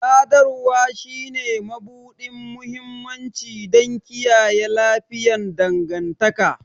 Sadarwa shine mabuɗin mahimmanci don kiyaye lafiyayyen dangantaka